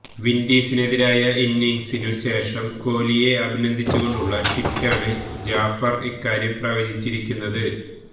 വിന്ഡീസിനെതിരായ ഇന്നിങ്സിനു ശേഷം കോലിയെ അഭിനന്ദിച്ചുകൊണ്ടുള്ള ട്വീറ്റിലാണ് ജാഫര് ഇക്കാര്യം പ്രവചിച്ചിരിക്കുന്നത്